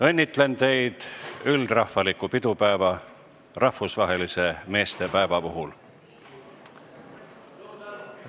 Õnnitlen teid üldrahvaliku pidupäeva, rahvusvahelise meestepäeva puhul!